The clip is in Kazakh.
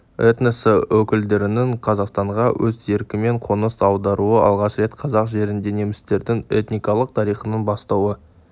этносы өкілдерінің қазақстанға өз еркімен қоныс аударуы алғаш рет қазақ жерінде немістердің этникалық тарихының бастауы